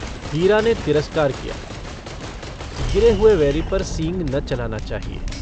हीरा ने तिरस्कार किया - गिरे हुए वैरी पर सींग न चलाना चाहिए।